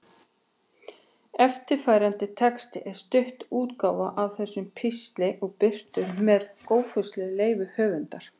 Eftirfarandi texti er stytt útgáfa af þessum pistli og birtur með góðfúslegu leyfi höfundar.